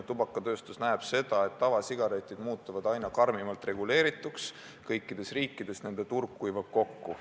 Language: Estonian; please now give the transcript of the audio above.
Tubakatööstus näeb seda, et tavasigaretid muutuvad aina karmimalt reguleerituks, kõikides riikides nende turg kuivab kokku.